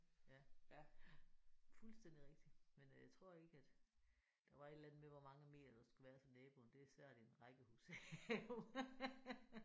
Ja ja fuldstændig rigtigt men øh tror ikke at der var et eller andet med hvor mange meter der skulle være til naboen. Det er svært i et rækkehus jo